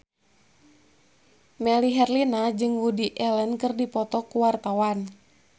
Melly Herlina jeung Woody Allen keur dipoto ku wartawan